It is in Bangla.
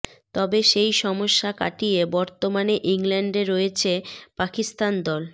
তবে সেই সমস্যা কাটিয়ে বর্তমানে ইংল্যান্ডে রয়েছে পাকিস্তান দল